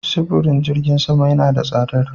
Sifirin jirgin sama yana da tsadar.